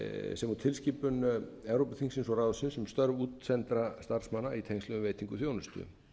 sem og tilskipun evrópuþingsins og ráðsins um störf útsendra starfsmanna í tengslum við veitingu þjónustu